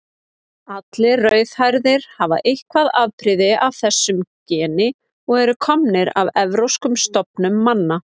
Allir rauðhærðir hafa eitthvert afbrigði af þessu geni og eru komnir af evrópskum stofnum manna.